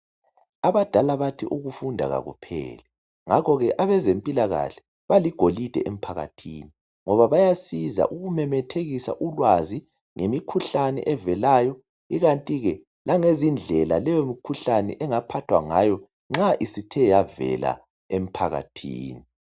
Abadala bathi ukufunda kakupheli ngakho ke abezempilakahle baligolide emphakathini ngoba bayasiza ukumemethekisa ulwazi ngemikhuhlani evelayo ikanti ke langezindlela leyomkhuhlane engaphathwa ngayo nxa isithe yavela emphakathini.